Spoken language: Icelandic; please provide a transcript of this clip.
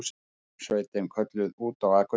Björgunarsveitin kölluð út á Akureyri